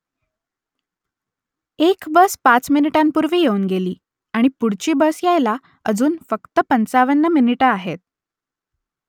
एक बस पाच मिनिटांपूर्वी येऊन गेली आणि पुढची बस यायला अजून फक्त पंचावन्न मिनिटं आहेत